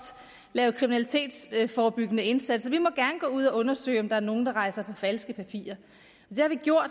lave kriminalitetsforebyggende indsatser vi må gerne gå ud og undersøge om der er nogle der rejser på falske papirer det har vi gjort og